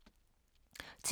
TV 2